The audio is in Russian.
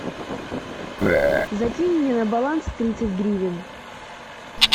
закинь мне на баланс тридцать гривен